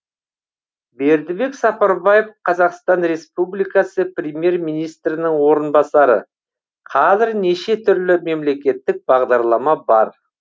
бердібек сапарбаев қазақстан республикасы премьер министрінің орынбасары қазір неше түрлі мемлекеттік бағдарлама бар